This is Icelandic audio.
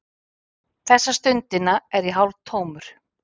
Þessa stundina er ég hálftómur.